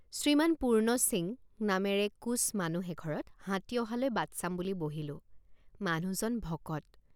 শ্ৰীমান পূৰ্ণ সিং নামেৰে কোচ মানুহ এঘৰত হাতী অহালৈ বাট চাম বুলি বহিলোঁ ৷ মানুহজন ভকত।